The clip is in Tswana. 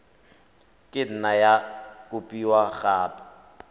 ka nne ya kopiwa gape